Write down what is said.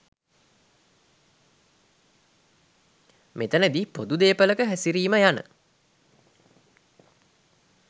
මෙතැනදී පොදු දේපළක හැසිරිම යන